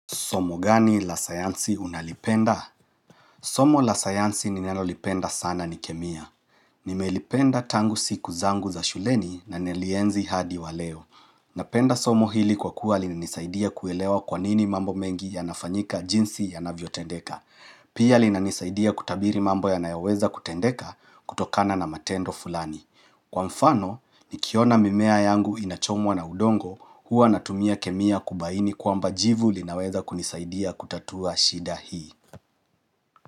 Somo gani la sayansi unalipenda? Somo la sayansi ninalo lipenda sana ni kemia. Nimelipenda tangu siku zangu za shuleni na nili lienzi hadi wa leo. Napenda somo hili kwa kuwa linanisaidia kuelewa kwanini mambo mengi yanafanyika jinsi ya navyo tendeka. Pia linanisaidia kutabiri mambo ya nayoweza kutendeka kutokana na matendo fulani. Kwa mfano, nikiona mimea yangu inachomwa na udongo huwa natumia kemia kubaini kwamba jivu linaweza kunisaidia kutatua shida hii.